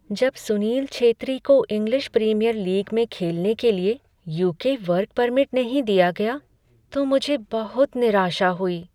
जब सुनील छेत्री को English Premier League में खेलने के लिए यू.के. वर्क परमिट नहीं दिया गया तो मुझे बहुत निराशा हुई।